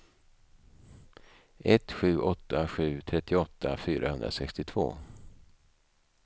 ett sju åtta sju trettioåtta fyrahundrasextiotvå